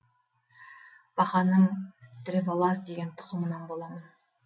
бақаның древолаз деген тұқымынан боламын